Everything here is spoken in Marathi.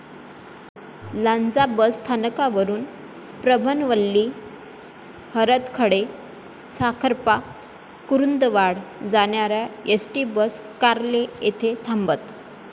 लांजा बस स्थानकवरुन प्रभणवल्ली, हरदखळे, साखरपा, कुरुंदवाड जाणाऱ्या एसटी बस कोर्ले येथे थांबत.